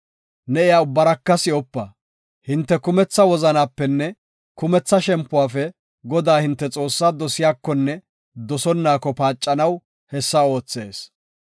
ne iya ubbaraka si7opa. Hinte kumetha wozanapenne kumetha shempuwafe Godaa hinte Xoossaa dosiyakonne dosonaako paacanaw hessa oothees.